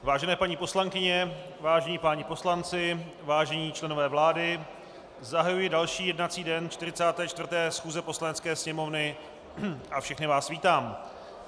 Vážené paní poslankyně, vážení páni poslanci, vážení členové vlády, zahajuji další jednací den 44. schůze Poslanecké sněmovny a všechny vás vítám.